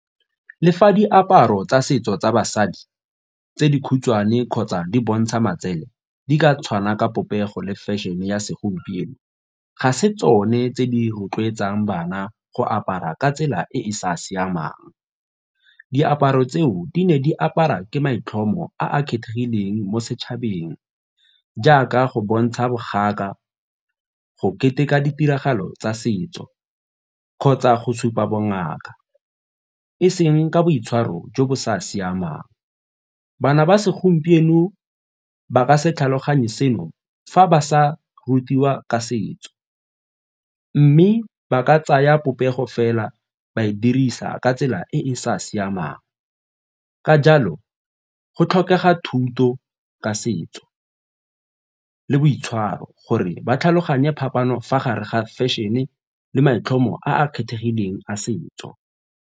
Le fa diaparo tsa setso tsa basadi tse dikhutshwane kgotsa di bontsha matsele di ka tshwana ka popego le fešene ya segompieno ga se tsone tse di rotloetsang bana go apara ka tsela e e sa siamang. Diaparo tseo di ne di apara ke maitlhomo a a kgethegileng mo setšhabeng jaaka go bontsha boganka, go keteka ditiragalo tsa setso kgotsa go supa bongaka e seng ka boitshwaro jo bo sa siamang. Bana ba segompieno ba ka se tlhaloganye seno fa ba sa rutiwa ka setso mme ba ka tsaya popego fela ba e dirisa ka tsela e e sa siamang, ka jalo go tlhokega thuto ka setso le boitshwaro gore ba tlhaloganye phapano fa gare ga fešene le maitlhomo a a kgethegileng a setso.